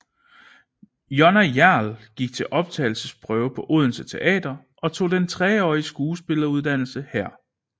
Jonna Hjerl gik til optagelsesprøve på Odense Teater og tog den treårige skuespilleruddannelse her